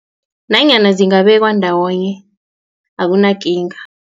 Nanyana zingabekwa ndawonye akunakinga.